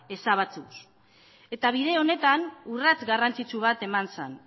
ezabatuz eta bide honetan urrats garrantzitsu bat eman zen